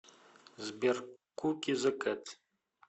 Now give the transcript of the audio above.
сбер куки зэ кэт